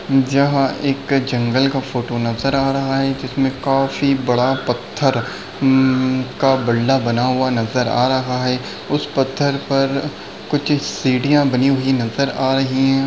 जहाँ एक जंगल का फोटो नजर आ रहा है जिसमें काफी बड़ा पत्थर अम का बिलड़ा बना हुआ नजर आ रहा है उस पत्थर पर कुछ सीढ़ियाँ बनी हुई नजर आ रही हैं।